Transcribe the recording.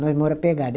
Nós mora pegado.